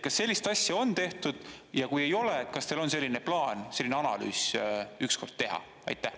Kas sellist asja on tehtud ja kui ei ole, kas teil on plaan selline analüüs ükskord teha?